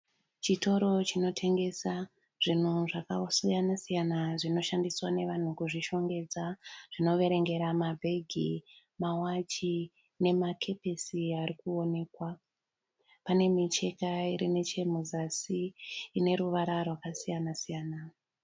Chitoro chinotengesa zvinhu zvakasiyana-siyana zvinoshandiswa nevanhu kuzvishongedza zvinoverengera mabhegi, mawachi nemakepisi ari kuonekwa. Pane micheka iri nechemuzasi ine ruvara rwakasiyana siyana.